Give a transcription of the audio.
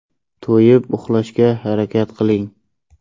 To‘yib uxlashga harakat qiling.